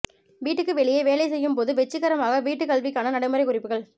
வீட்டுக்கு வெளியே வேலை செய்யும் போது வெற்றிகரமாக வீட்டுக்கல்விக்கான நடைமுறை குறிப்புகள்